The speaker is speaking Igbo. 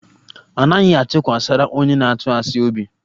Anaghị atụkwasara onye na-atụ asị obi